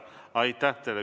Aitäh teile!